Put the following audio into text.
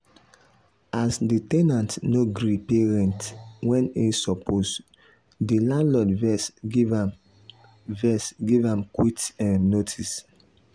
as the ten ant no gree pay rent when e suppose the landlord vex give am vex give am quit um notice.